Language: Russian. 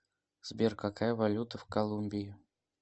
сбер какая валюта в колумбии